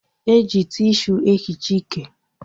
E ji tishu e hichaa ike